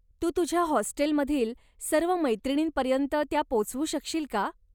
तू तुझ्या हॉस्टेलमधील सर्व मैत्रिणींपर्यन्त त्या पोचवू शकशील का?